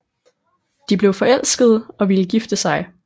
De blev forelskede og ville gifte sig